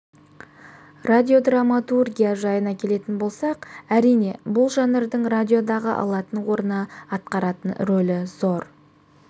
радиодраматургия жайына келетін болсақ әрине бұл жанрдың радиодағы алатын орны атқаратын рөлі зор